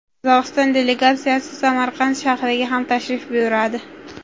Qozog‘iston delegatsiyasi Samarqand shahriga ham tashrif buyuradi.